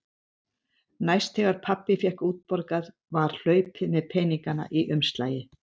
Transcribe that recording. Næst þegar pabbi fékk útborgað var hlaupið með peningana í umslagi.